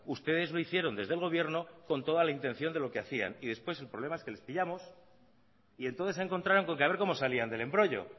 ustedes lo hicieron desde el gobierno con toda la intención de lo que hacían y después el problema es que les pillamos y entonces se encontraron con que a ver cómo salían del embrollo